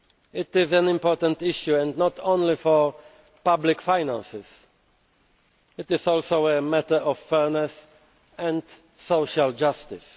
This is an important issue and not only for public finances it is also a matter of fairness and social justice.